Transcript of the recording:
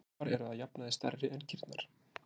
Tarfar eru að jafnaði stærri en kýrnar.